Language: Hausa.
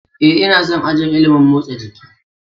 Ee, ina son ajin ilimin motsa jiki.